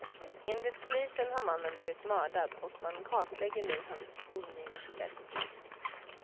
Enligt polisen har mannen blivit mördad och man kartlägger nu hans umgängeskrets.